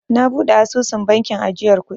Na buɗe asusun bankin ajiyar kuɗi.